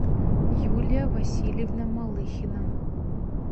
юлия васильевна малыхина